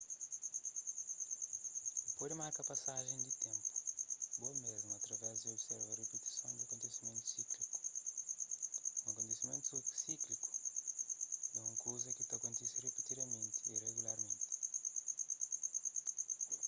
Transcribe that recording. bu pode marka pasajen di ténpu bo mésmu através di observa ripitison di un akontesimentu síkliku un akontesimentu síkliku é un kuza ki ta kontise ripitidamenti y regularmenti